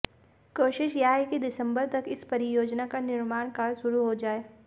कोशिश यह है कि दिसम्बर तक इस परियोजना का निर्माण कार्य शुरू हो जाये